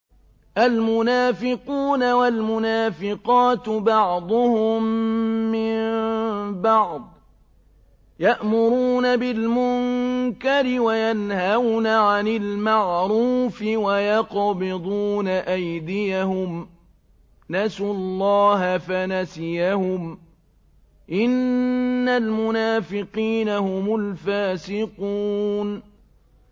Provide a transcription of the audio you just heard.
الْمُنَافِقُونَ وَالْمُنَافِقَاتُ بَعْضُهُم مِّن بَعْضٍ ۚ يَأْمُرُونَ بِالْمُنكَرِ وَيَنْهَوْنَ عَنِ الْمَعْرُوفِ وَيَقْبِضُونَ أَيْدِيَهُمْ ۚ نَسُوا اللَّهَ فَنَسِيَهُمْ ۗ إِنَّ الْمُنَافِقِينَ هُمُ الْفَاسِقُونَ